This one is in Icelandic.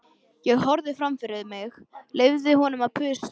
Ég horfði fram fyrir mig, leyfði honum að þusa.